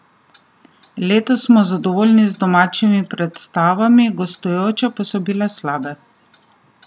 Letos smo zadovoljni z domačimi predstavami, gostujoče pa so bile slabe.